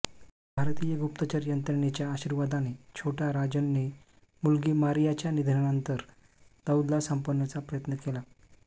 भारतीय गुप्तचर यंत्रणेच्या आशीर्वादाने छोटा राजनने मुलगी मारियाच्या निधनानंतर दाऊदला संपवण्याचा प्रयत्न केला